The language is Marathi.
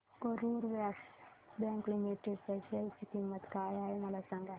आज करूर व्यास्य बँक लिमिटेड च्या शेअर ची किंमत काय आहे मला सांगा